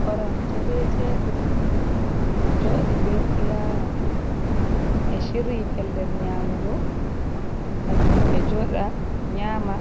Korom je ɓe teɓul ɗo joɗi ɓe fulawa ɓe chiryi pellel nyamugo gam himɓe joɗa nyama,